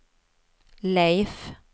Leif